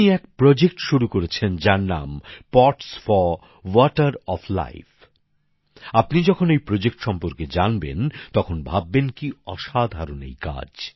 তিনি এক প্রকল্প শুরু করেছেন যার নাম pots for water of life আপনি যখন এই প্রকল্প সম্পর্কে জানবেন তখন ভাববেন কি অসাধারণ এই কাজ